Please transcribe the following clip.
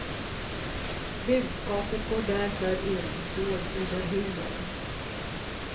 Budskapet går därför in, dolt under humor.